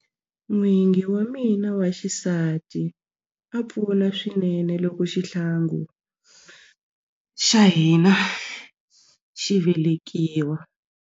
N'wingi wa mina wa xisati a pfuna swinene loko xihlangi xa hina xi velekiwa.